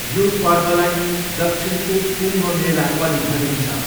यो पर्वलाई दक्षिणको कुम्भमेला पनि भनिन्छ।